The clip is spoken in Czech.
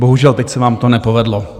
Bohužel teď se vám to nepovedlo.